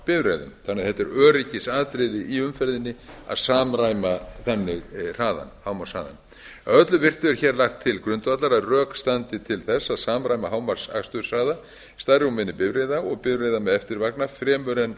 því öryggisatriði i umferðinni að samræma þannig hámarkshraðann að öllu virtu er hér lagt til grundvallar að rök standi til þess að samræma hámarksaksturshraða stærri og minni bifreiða og bifreiða með eftirvagna fremur en